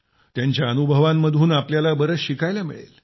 त्यांच्या अनुभवांमधून आपल्याला बरेच शिकायला मिळेल